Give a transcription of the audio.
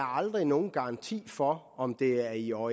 aldrig nogen garanti for om det er i år